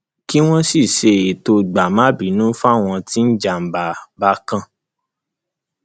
kí wọn sì ṣètò gbàmábínú fáwọn tí ìjàmbá bá kan